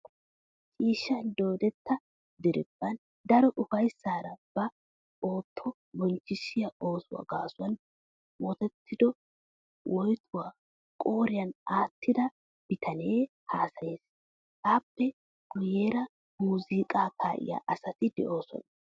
Ciishshan doodetta diriiphphan daro ufayssaara ba ootto bonchchissiya ooso gaasuwan woytettido woytuwa qooriyan aattida bitanee haasayes. Appe guyyeera muzunqqaa kaa'iya asati doosona.